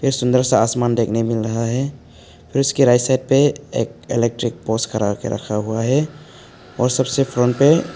सुंदर सा आसमान देखना मिल रहा है फिर उसके राइट साइड पर इलेक्ट्रिक पोल्स खड़ा के रखा हुआ है और सबसे फ्रंट पे--